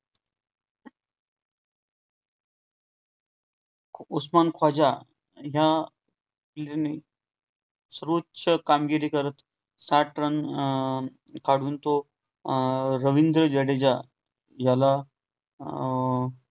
उसमान ख्वाजा ह्या सर्वोच्च कामगिरी करत साठ run अं काढून तो अं रविन्द्र जडेजा याला अं